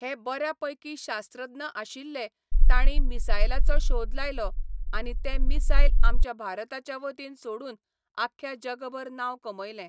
हे बऱ्यापैकी शास्त्रज्ञ आशिल्ले तांणी मिसायलाचो शोध लायलो आनी तें मिसायल आमच्या भारताच्या वतीन सोडून आख्या जगभर नांव कमयलें